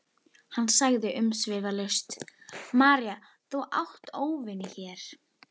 Hann sagði umsvifalaust: María þú átt óvini hér.